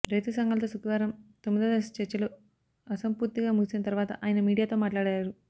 రైతు సంఘాలతో శుక్రవారం తొమ్మిదో దశ చర్చలు అసంపూర్తిగా ముగిసిన తర్వాత ఆయన మీడియాతో మాట్లాడారు